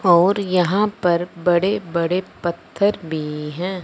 और यहां पर बड़े बड़े पत्थर भी हैं।